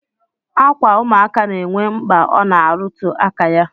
Akwa ụmụaka na-enwe mkpa ọ na-arụtụ aka ya